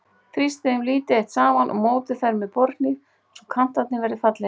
Þrýstið þeim lítið eitt saman og mótið þær með borðhníf svo kantarnir verði fallegir.